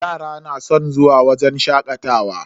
Yara na san zuwa wajen shakatawa.